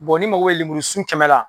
ni mago bɛ lemurusun kɛmɛ la.